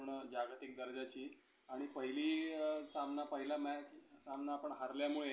पूर्ण जागतिक दर्जाची. आणि पहिली सामना पहिला match सामना आपण हरल्यामुळे